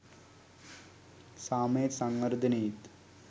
සාමයේත් සංවර්ධනයේත්